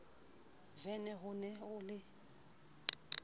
vene ho ne ho le